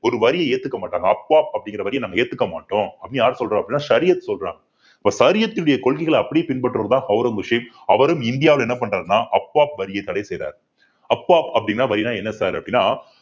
ஒரு வரியை ஏத்துக்க மாட்டாங்க அப்வாப் அப்படிங்கிற வரிய நம்ம ஏத்துக்க மாட்டோம் அப்படின்னு யார் சொல்றா அப்படின்னா ஷரியத் சொல்றான் இப்ப ஷரியத்தினுடைய கொள்கைகளை அப்படியே பின்பற்றுவதுதான் ஔரங்கசீப் அவரும் இந்தியாவில என்ன பண்றாருன்னா அப்வாப் வரியா தடை செய்யுறாரு அப்வாப் அப்படின்னா வரின்னா என்ன sir அப்பிடின்னா